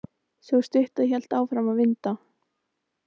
Sú stutta hélt áfram að vinda.